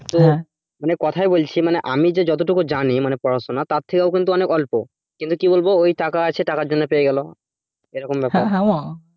মনে কথায় বলছি মানে আমি যে যতটুকু জানি মানে পড়াশোনা তার থেকে আরও কিন্তু অনেক অল্প কিন্তু কি বলবো ঐ টাকা আছে টাকার জন্য পেয়ে গেল এরকম ব্যাপার